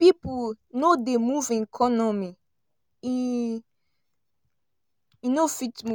if pipo no dey move economy eee e no fit move.